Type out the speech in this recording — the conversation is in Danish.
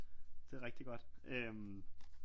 Det er rigtig godt